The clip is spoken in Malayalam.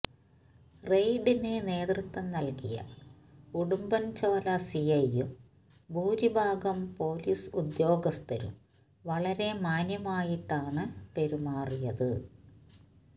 റെയ്ഡിന് നേതൃത്വം നൽകിയ ഉടുമ്പൻചോല സി ഐയും ഭൂരിഭാഗം പൊലീസ് ഉദ്യോഗസ്ഥരും വളരെ മാന്യമായിട്ടാണ് പെരുമാറിയത്